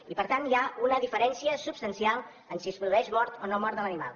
i per tant hi ha una diferència substancial en si es produeix mort o no mort de l’animal